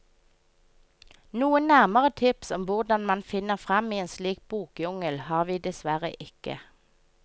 Noen nærmere tips om hvordan man finner frem i en slik bokjungel har vi dessverre ikke.